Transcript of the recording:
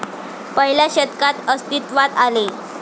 पहिल्या शतकात अस्तित्वात आले.